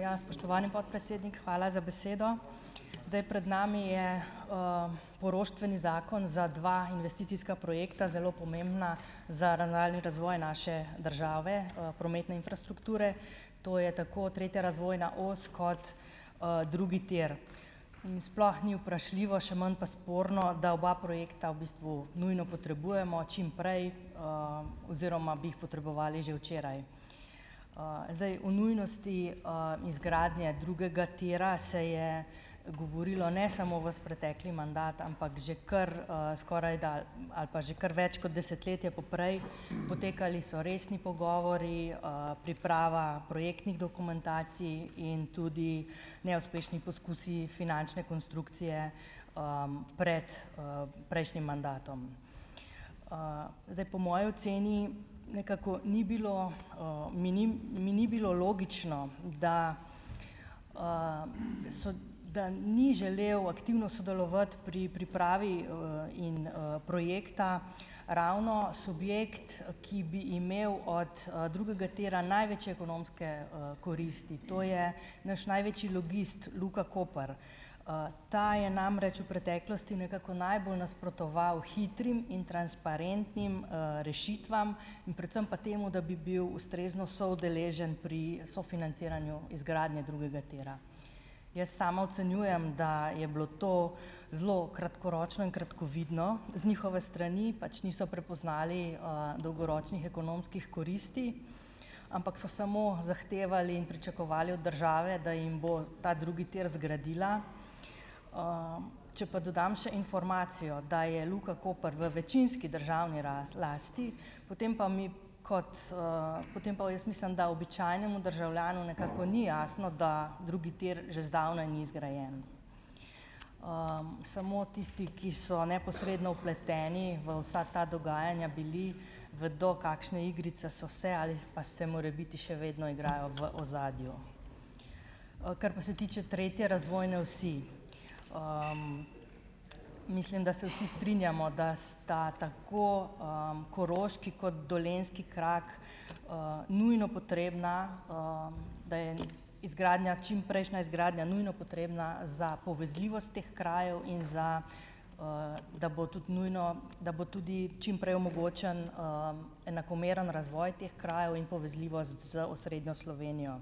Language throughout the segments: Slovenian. ja, spoštovani podpredsednik, hvala za besedo. Zdaj, pred nami je, poroštveni zakon za dva investicijska pomembna, zelo pomembna za nadaljnji razvoj naše države, prometne infrastrukture. To je tako tretja razvojna os kot, drugi tir. In sploh ni vprašljivo, še manj pa sporno, da oba projekta v bistvu nujno potrebujemo čim prej, oziroma bi jih potrebovali že včeraj. Zdaj, o nujnosti, izgradnje drugega tira se je govorilo ne samo ves pretekli mandat, ampak že kar, skorajda ali pa že kar več kot desetletje poprej, potekali so resni pogovori, priprava projektnih dokumentacij in tudi neuspešni poskusi finančne konstrukcije, pred, prejšnjim mandatom. Zdaj, po moji oceni nekako ni bilo, mi ni mi ni bilo logično, da, so da ni želel aktivno sodelovati pri pripravi, in, projekta ravno subjekt, ki bi imel od, drugega tira največje ekonomske, koristi, to je naš največji logist Luka Koper. Ta je namreč v preteklosti nekako najbolj nasprotoval hitrim in transparentnim, rešitvam, in predvsem pa temu, da bi bil ustrezno soudeležen pri sofinanciranju izgradnje drugega tira. Jaz sama ocenjujem, da je bilo to zelo kratkoročno in kratkovidno z njihove strani, pač niso prepoznali, dolgoročnih ekonomskih koristi, ampak so samo zahtevali in pričakovali od države, da jim bo ta drugi tir zgradila. Če pa dodam še informacijo, da je Luka Koper v večinski državni lasti, potem pa mi kot, potem pa jaz mislim, da običajnemu državljanu nekako ni jasno, da drugi tir že zdavnaj ni zgrajen. Samo tisti, ki so neposredno vpleteni v vsa ta dogajanja bili, vedo, kakšne igrice so se ali pa se morebiti še vedno igrajo v ozadju. Kar pa se tiče tretje razvojne osi. Mislim, da se vsi strinjamo, da sta tako, koroški kot dolenjski krak, nujno potrebna, da je izgradnja čimprejšnja izgradnja nujno potrebna za povezljivost teh krajev in za, da bo tudi nujno, da bo tudi čim prej omogočen, enakomeren razvoj teh krajev in povezljivost z osrednjo Slovenijo.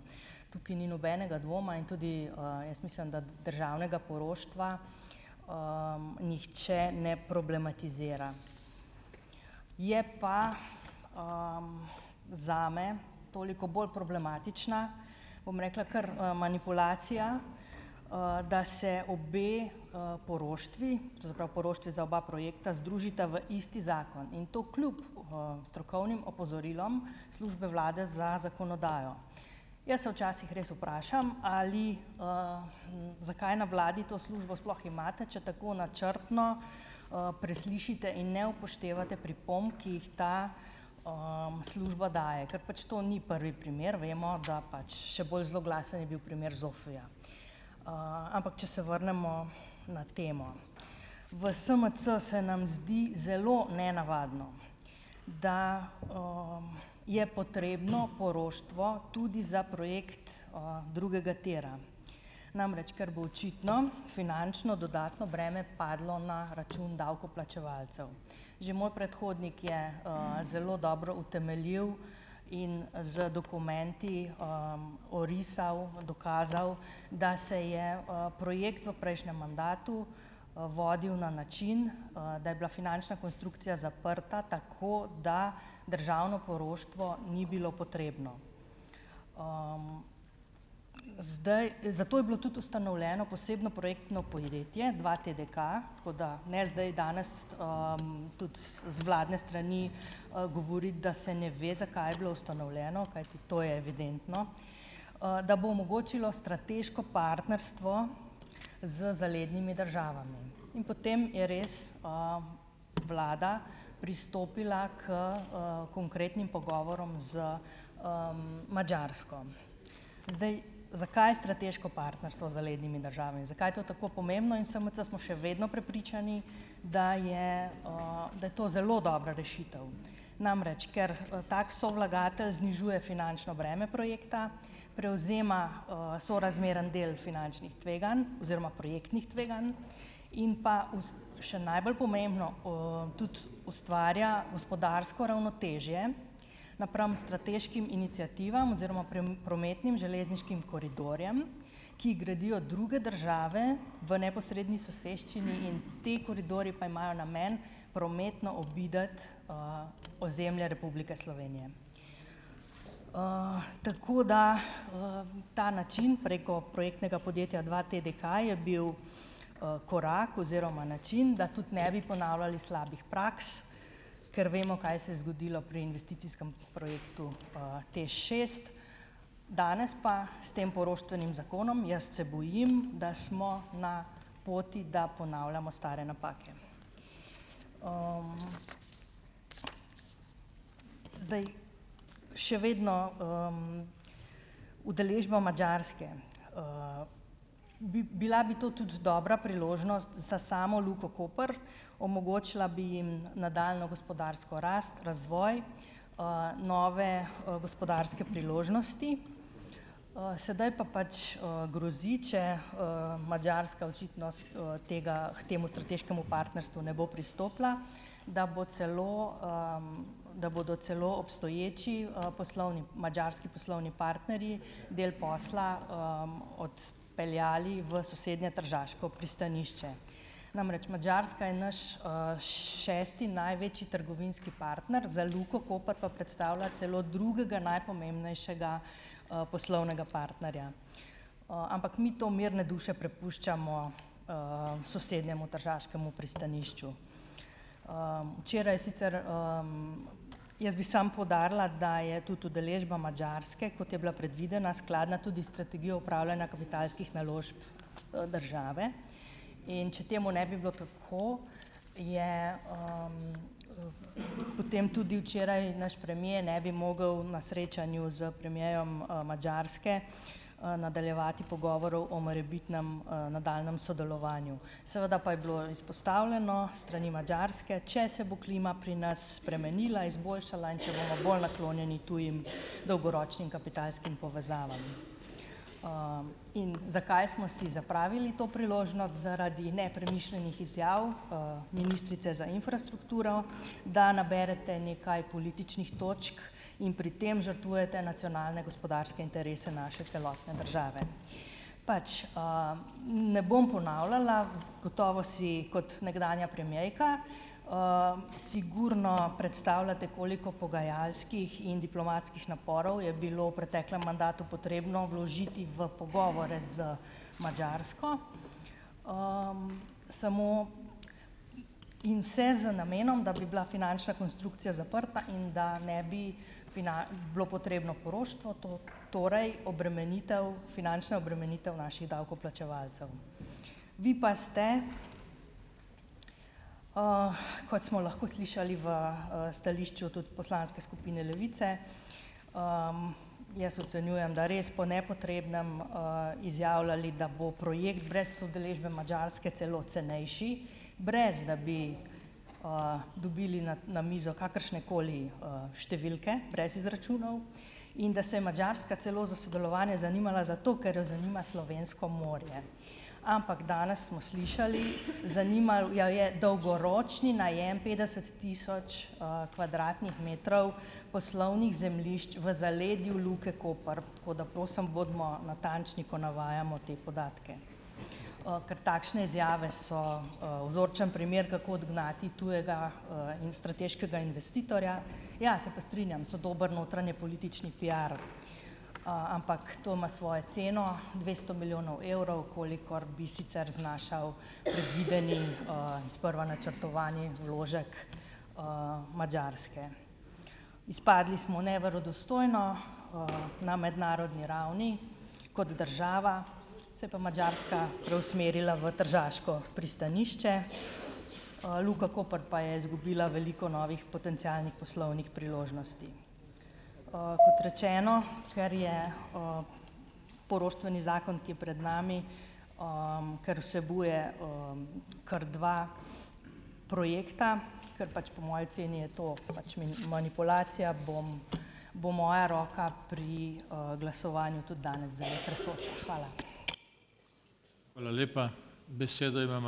Tukaj ni nobenega dvoma in tudi, jaz mislim, da tudi državnega poroštva, nihče ne problematizira. Je pa, zame toliko bolj problematična, bom rekla, kar, manipulacija, da se obe, poroštvi, to se pravi poroštvi za oba projekta, združita v isti zakon. In to kljub, strokovnim opozorilom službe vlade za zakonodajo. Jaz se včasih res vprašam, ali, zakaj na vladi to službo sploh imate, če tako načrtno, preslišite in ne upoštevate pripomb, ki jih ta, služba daje. Ker pač to ni prvi primer, vemo, da pač še bolj zloglasen je bil primer ZOFU-ja. Ampak, če se vrnemo na temo. V SMC se nam zdi zelo nenavadno, da, je potrebno poroštvo tudi za projekt, drugega tira. Namreč ker bo očitno finančno dodatno breme padlo na račun davkoplačevalcev. Že moj predhodnik je, zelo dobro utemeljil in z dokumenti, orisal, dokazal, da se je, projekt v prejšnjem mandatu, vodil na način, da je bila finančna konstrukcija zaprta tako, da državno poroštvo ni bilo potrebno. Zdaj. Zato je bilo tudi ustanovljeno posebno projektno podjetje dva TDK, tako da ne zdaj danes, tudi z z vladne strani, govoriti, da se ne ve, zakaj je bilo ustanovljeno, kajti to je evidentno, da bo omogočilo strateško partnerstvo z zalednimi državami. In potem je res, vlada pristopila h, konkretnim pogovorom z, Madžarsko. Zdaj, zakaj strateško partnerstvo z zalednimi državami, zakaj je to tako pomembno? In v SMC smo še vedno prepričani, da je, da je to zelo dobra rešitev. Namreč, ker, tako sovlagatelj znižuje finančno breme projekta, prevzema, sorazmeren del finančnih tveganj oziroma projektnih tveganj in pa še najbolj pomembno, tudi ustvarja gospodarsko ravnotežje napram strateškim iniciativam oziroma prometnim, železniškim koridorjem, ki jih gradijo druge države v neposredni soseščini, in ti koridorji pa imajo namen prometno obiti, ozemlje Republike Slovenije. Tako da, ta način preko podjetnega podjetja dva TDK je bil, korak oziroma način, da tudi ne bi ponavljali slabih praks, ker vemo, kaj se je zgodilo pri investicijskem projektu TEŠ šest. Danes pa s tem poroštvenim zakonom, jaz se bojim, da smo na poti, da ponavljamo stare napake. Še vedno, udeležba Madžarske, bi bila bi to tudi dobra priložnost za samo Luko Koper, omogočila bi jim nadaljnjo gospodarsko rast, razvoj, nove, gospodarske priložnosti, sedaj pa pač, grozi, če, Madžarska očitno s tega k temu strateškemu partnerstvu ne bo pristopila, da bo celo, da bodo celo obstoječi, poslovni madžarski poslovni partnerji del posla, odpeljali v sosednje tržaško pristanišče. Namreč Madžarska je naš, šesti največji trgovinski partner, za Luko Koper pa predstavlja celo drugega najpomembnejšega, poslovnega partnerja, ampak mi to mirne duše prepuščamo, sosednjemu tržaškemu pristanišču. včeraj sicer, Jaz bi samo poudarila, da je tudi udeležba Madžarske, kot je bila predvidena, skladna tudi s strategijo upravljanja kapitalskih naložb, države, in če temu ne bi bilo tako, je, potem tudi včeraj naš premier ne bi mogel na srečanju s premierom Madžarske, nadaljevati pogovorov o morebitnem, nadaljnjem sodelovanju. Seveda pa je bilo izpostavljeno s strani Madžarske, če se bo klima pri nas spremenila, izboljšala, in če bomo bolj naklonjeni tujim dolgoročnim kapitalskim povezavam. in zakaj smo si zapravili to priložnost? Zaradi nepremišljenih izjav, ministrice za infrastrukturo, da naberete nekaj političnih točk in pri tem žrtvujete nacionalne gospodarske interese naše celotne države. Pač, ne bom ponavljala, gotovo si kot nekdanja premierka, sigurno predstavljate, koliko pogajalskih in diplomatskih naporov je bilo v preteklem mandatu potrebno vložiti v pogovore z Madžarsko, samo, in vse z namenom, da bi bila finančna konstrukcija zaprta in da ne bi bilo potrebno poroštvo torej obremenitev finančna obremenitev naših davkoplačevalcev. Vi pa ste, kot smo lahko slišali v, stališču tudi poslanske skupine Levice, jaz ocenjujem, da res po nepotrebnem, izjavljali, da bo projekt brez udeležbe Madžarske celo cenejši, brez da bi, dobili na na mizo kakršnekoli, številke brez izračunov in da se je Madžarska celo za sodelovanje zanimala, zato ker jo zanima slovensko morje. Ampak danes smo slišali, zanimal jo je dolgoročni najem petdeset tisoč, kvadratnih metrov poslovnih zemljišč v zaledju Luke Koper, tako da prosim bodimo natančni, ko navajamo te podatke, ker takšne izjave so, vzorčen primer, kako odgnati tujega, in strateškega investitorja. Ja, se pa strinjam, so dobili notranjepolitični piar, ampak to ima svoje ceno, dvesto milijonov evrov, kolikor bi sicer znašal predvideni, sprva načrtovani vložek, Madžarske. Izpadli smo neverodostojno, na mednarodni ravni kot država, se je pa Madžarska preusmerila v tržaško pristanišče, Luka Koper pa je izgubila veliko novih potencialnih poslovnih priložnosti. Kot rečeno, ker je, poroštveni zakon, ki je pred nami, ker vsebuje, kar dva projekta, ker pač po moji oceni je to pač manipulacija, bom, bo moja roka pri, glasovanju tudi danes zelo tresoča. Hvala.